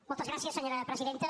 moltes gràcies senyora presidenta